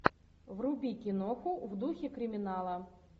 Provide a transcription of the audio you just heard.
вруби киноху в духе криминала